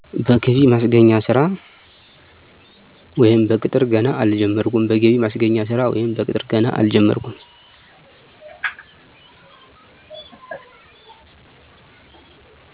በገቢ ማስገኛ ስራ ወይም በቅጥር ገና አልጀመርኩም